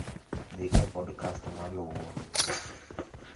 Dhi e podcast maluwo